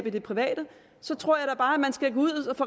i det private så tror jeg da bare man skal gå ud